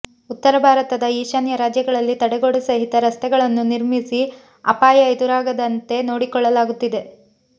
ಉತ್ತರ ಭಾರತದ ಈಶಾನ್ಯ ರಾಜ್ಯಗಳಲ್ಲಿ ತಡೆಗೋಡೆ ಸಹಿತ ರಸ್ತೆಗಳನ್ನು ನಿರ್ಮಿಸಿ ಅಪಾಯ ಎದುರಾಗದಂತೆ ನೋಡಿಕೊಳ್ಳಲಾಗುತ್ತಿದೆ